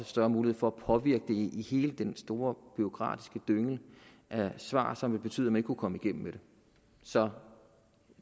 større mulighed for at påvirke hele den store bureaukratiske dynge af svar som betyder vil kunne komme igennem med det så